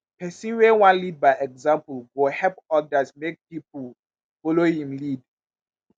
pesin wey wan lead by example go help odas make pipo folo im lead.